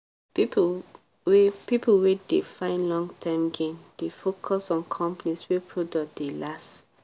people wey people wey dey find long-term gain dey focus on companies wey product dey last.